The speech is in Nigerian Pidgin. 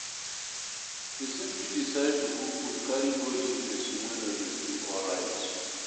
Persin fit decide to cook food carry go give persin wey no de feel alright